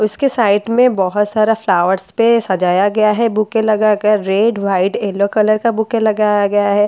उसके साइड में बहोत सारा फ्लावर्स पे सजाया गया है बुके लगाकर रेड व्हाइट येलो कलर का बुके लगाया गया है।